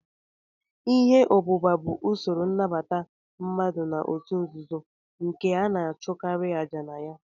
Ihe obúbá bụ usoro innabata mmadụ na-otu nzuzo nke ana achukari aja na ya.